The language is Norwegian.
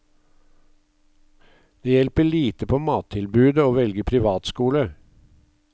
Det hjelper lite på mattilbudet å velge privatskole.